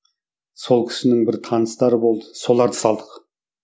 сол кісінің бір таныстары болды соларды салдық